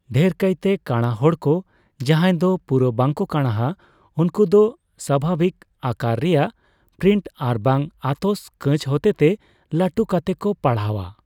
ᱰᱷᱮᱨ ᱠᱟᱭᱛᱮ ᱠᱟᱸᱲᱟ ᱦᱚᱲᱠᱚ ᱡᱟᱦᱟᱸᱭ ᱫᱚ ᱯᱩᱨᱟᱹ ᱵᱟᱝ ᱠᱚ ᱠᱟᱸᱲᱟᱣᱟ, ᱩᱱᱠᱩ ᱫᱚ ᱥᱟᱵᱷᱟᱵᱤᱠ ᱟᱠᱟᱨ ᱨᱮᱭᱟᱜ ᱯᱨᱤᱱᱴ ᱟᱨᱵᱟᱝ ᱟᱛᱚᱥ ᱠᱟᱸᱹᱪ ᱦᱚᱛᱮᱛᱮ ᱞᱟᱹᱴᱩ ᱠᱟᱛᱮ ᱠᱚ ᱯᱟᱲᱦᱟᱣᱼᱟ ᱾